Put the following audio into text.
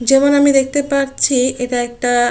যেমন আমি দেখতে পাচ্ছি এটা একটা।